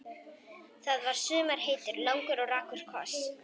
Það var í sumar heitur, langur og rakur koss.